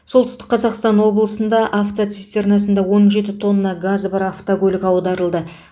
солтүстік қазақстан облысында автоцистернасында он жеті тонна газы бар автокөлік аударылды